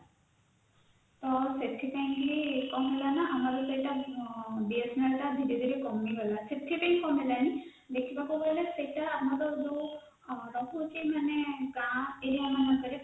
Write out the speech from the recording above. ସେଥିପାଇଁ କି କଣ ହେଲା ନା ଆମର ସେଟା BSNL ଟା ଧୀରେ ଧୀରେ କମିଗଲା ସେଥିପାଇଁ କଣ ହେଲା ନା ଦେଖିବାକୁ ଗଲେ ସେଟା ଆମର ଯାଉ ରହୁଛି ମାନେ ଗା ଏରିୟା ମାନଙ୍କରେ